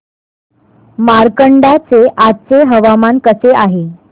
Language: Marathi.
मार्कंडा चे आजचे हवामान कसे आहे